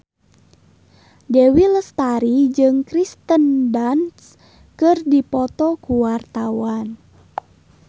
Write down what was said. Dewi Lestari jeung Kirsten Dunst keur dipoto ku wartawan